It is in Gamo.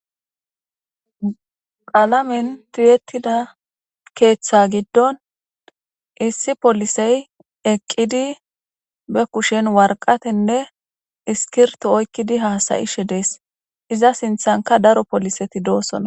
Qaalamen tiyetida keeththa giddon issi polisey eqqidi be kushen warqatenne iskirto oykkidi haasayishe dees iza sinthanka daro poliseti doosona